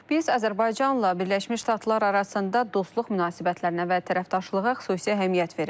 Biz Azərbaycanla Birləşmiş Ştatlar arasında dostluq münasibətlərinə və tərəfdaşlığa xüsusi əhəmiyyət veririk.